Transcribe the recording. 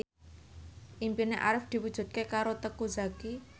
impine Arif diwujudke karo Teuku Zacky